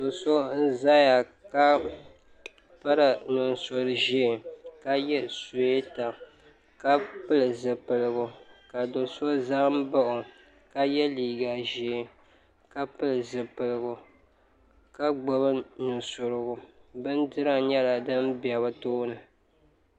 Do"so n zaya ka piri nusuri ʒee ka ye suweta ka pili zipiligu ka do"so zambaɣi o ka ye liiga ʒee ka pili zipilgu ka gbibi nusurigu bindira nyela din be bɛ tooni.